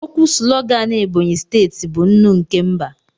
Okwu sulogan Ebonyi steeti bụ "Nnụ nke mba"